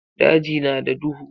Daji na da duhu.